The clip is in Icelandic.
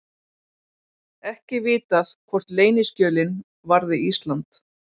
Ekki vitað hvort leyniskjölin varði Ísland